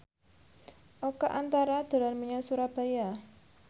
Oka Antara dolan menyang Surabaya